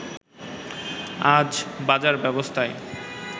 আর বাজার ব্যবস্থায়